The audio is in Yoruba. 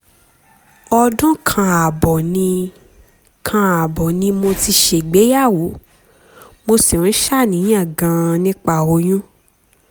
ọdún kan ààbọ̀ ni kan ààbọ̀ ni mo ti ṣègbéyàwó mo sì ń ṣàníyàn gan-an nípa oyún